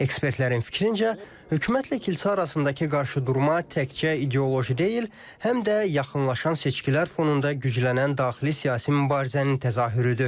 Ekspertlərin fikrincə, hökumətlə kilsə arasındakı qarşıdurma təkcə ideoloji deyil, həm də yaxınlaşan seçkilər fonunda güclənən daxili siyasi mübarizənin təzahürüdür.